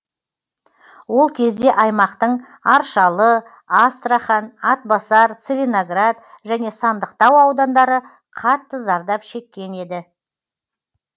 ол кезде аймақтың аршалы астрахан атбасар целиноград және сандықтау аудандары қатты зардап шеккен еді